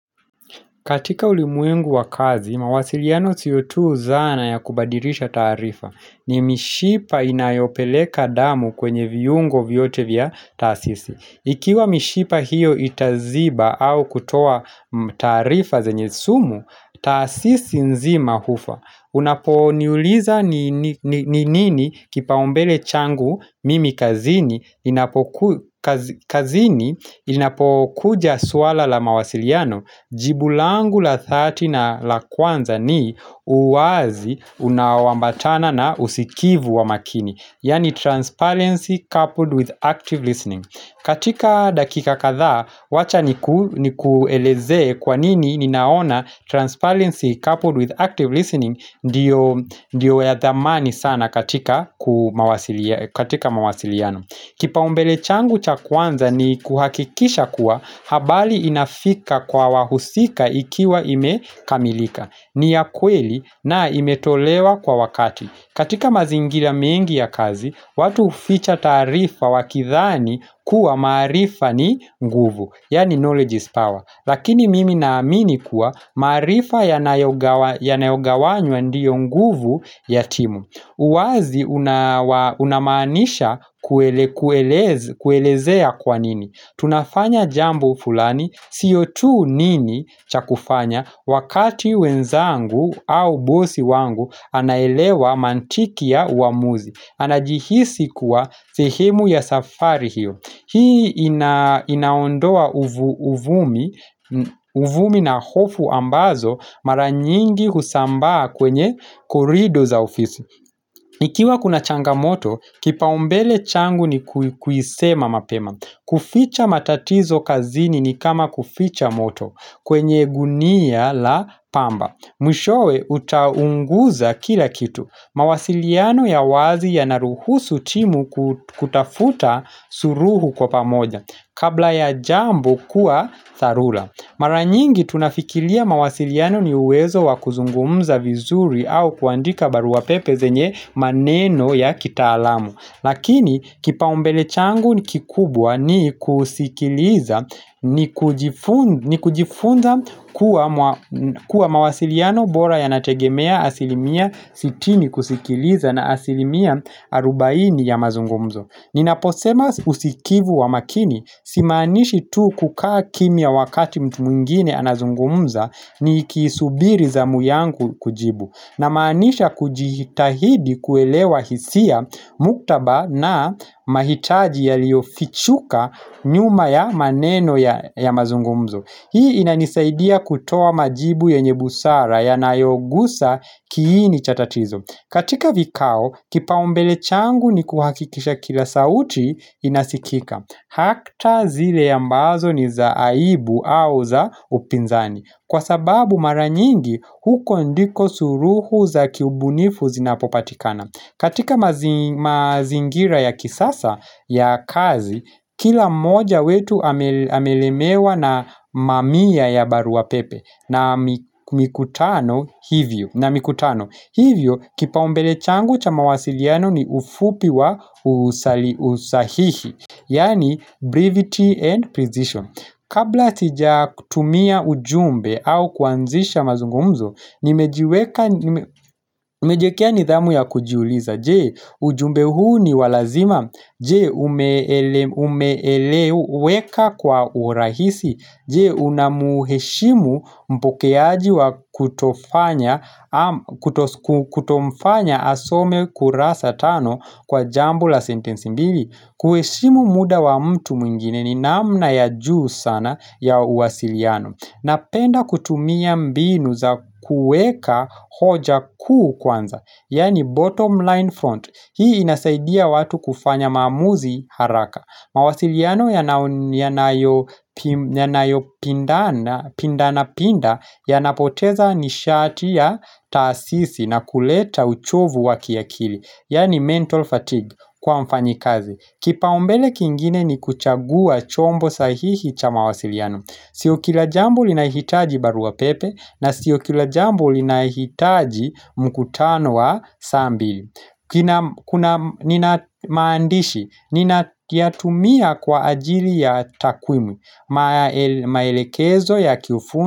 Katika ulimwengu wa kazi, mawasiliano siyo tu zana ya kubadirisha tarifa. Ni mishipa inayopeleka damu kwenye viungo vyote vya taasisi. Ikiwa mishipa hiyo itaziba au kutoa tarifa zenye sumu, taasisi nzima hufa. Unapo niuliza ni nini kipa umbele changu mimi kazini kazini inapo kuja suala la mawasiliano Jibulangu la thati na la kwanza ni uazi unawambatana na usikivu wa makini Yani transparency coupled with active listening katika dakika katha wacha ni kueleze kwa nini ninaona transparency coupled with active listening ndio Ndiyo ya dhamani sana katika mawasiliano Kipa umbele changu cha kwanza ni kuhakikisha kuwa Habali inafika kwa wahusika ikiwa imekamilika ni ya kweli na imetolewa kwa wakati katika mazingira mengi ya kazi watu huficha tarifa wakithani kuwa marifa ni nguvu Yani knowledge is power Lakini mimi na amini kuwa marifa ya nayogawanywa ndiyo nguvu ya timu uwazi unamanisha kuelezea kwa nini Tunafanya jambo fulani, sio tu nini chakufanya Wakati wenzangu au bosi wangu anaelewa mantiki ya uamuzi Anajihisi kuwa sehemu ya safari hiyo Hii inaondoa uvumi na hofu ambazo maranyingi husambaa kwenye korido za ofisi Ikiwa kuna changa moto, kipa umbele changu ni kuisema mapema kuficha matatizo kazini ni kama kuficha moto kwenye gunia la pamba Mwishowe.utaunguza kila kitu. Mawasiliano ya wazi ya naruhusu timu kutafuta suruhu kwa pamoja. Kabla ya jambo kuwa tharula. Maranyingi tunafikilia mawasiliano ni uwezo wakuzungumza vizuri au kuandika baruapepe zenye maneno ya kita alamu. Lakini kipa umbele changu ni kikubwa ni kusikiliza ni kujifunza kuwa mawasiliano bora ya nategemea asilimia sitini kusikiliza na asilimia arubaini ya mazungumzo Ninaposema usikivu wa makini simaanishi tu kukaa kimia wakati mtu mwingine anazungumza ni kisubiri zamu yangu kujibu na maanisha kujihitahidi kuelewa hisia muktaba na mahitaji ya liofichuka nyuma ya maneno ya mazungumzo Hii inanisaidia kutoa majibu yenye busara yanayo gusa kiini chatatizo katika vikao kipa umbele changu ni kuhakikisha kila sauti inasikika Hakta zile ya mbazo ni za aibu au za upinzani Kwa sababu maranyingi huko ndiko suruhu za kiubunifu zinapopatikana katika mazingira ya kisasa ya kazi Kila moja wetu amelemewa na mamia ya baru wa pepe na mikutano hivyo Hivyo kipa umbele changu cha mawasiliano ni ufupi wa usahihi Yani brevity and position Kabla sijakutumia ujumbe au kuanzisha mazungumzo, nimejiekea nidhamu ya kujiuliza. Jee, ujumbe huu ni walazima. Jee, umeeleweka kwa urahisi. Jee, unamuheshimu mpokeaji wa kutofanya asome kurasa tano kwa jambo la sentensi mbili. Kueshimu muda wa mtu mwingine ni namna ya juu sana ya uwasiliano Napenda kutumia mbinu za kueka hoja kuu kwanza Yani bottom line front Hii inasaidia watu kufanya mamuzi haraka mawasiliano yanayopinda na pinda Yanapoteza nishati ya tasisi na kuleta uchovu waki ya kili Yani mental fatigue kwa mfanyikazi Kipa umbele kingine ni kuchagua chombo sahihi cha mawasiliano Sio kilajambo linahitaji barua pepe na sio kilajambo linahitaji mkutano wa saa mbili Kuna maandishi ninatumia kwa ajili ya takwimi maelekezo ya kiufundi.